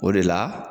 O de la